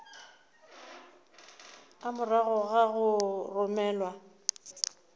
a morago ga go romelwa